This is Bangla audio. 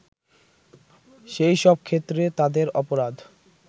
সেই সব ক্ষেত্রে তাদের অপরাধ